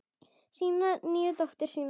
Sína nýju dóttur.